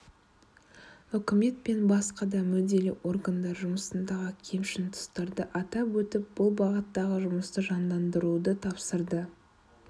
үкімет пен басқа да мүдделі органдар жұмысындағы кемшін тұстарды атап өтіп бұл бағыттағы жұмысты жандандыруды тапсырды